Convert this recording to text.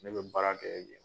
Ne bɛ baara kɛ